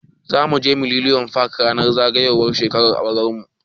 Zamu je millennium park ranar zagayowar shekarar auran mu.